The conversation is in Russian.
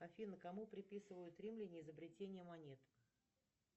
афина кому приписывают римляне изобретение монет